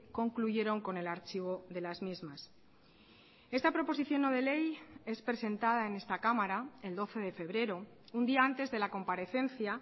concluyeron con el archivo de las mismas esta proposición no de ley es presentada en esta cámara el doce de febrero un día antes de la comparecencia